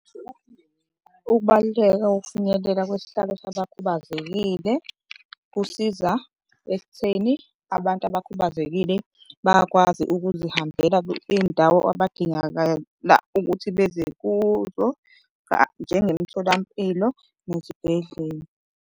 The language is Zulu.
Ukubaluleka kokufinyelela kwesihlalo sabakhubazekile kusiza ekutheni abantu abakhubazekile bayakwazi ukuzihambela iy'ndawo abadingakala ukuthi beze kuzo njengomtholampilo nezibhedlela.